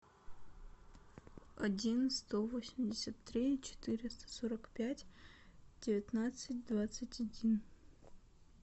один сто восемьдесят три четыреста сорок пять девятнадцать двадцать один